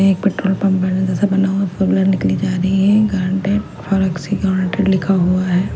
एक petrol pump बड़े जैसा बना हुआ है --